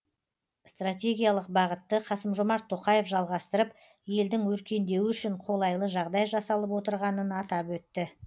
стратегиялық бағытты қасым жомарт тоқаев жалғастырып елдің өркендеуі үшін қолайлы жағдай жасалып отырғанын атап өтті